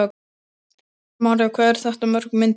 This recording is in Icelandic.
María: Hvað eru þetta mörg myndbönd?